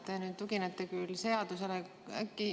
Te nüüd tuginete küll seadusele, aga äkki ...